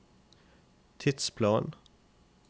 tidsplan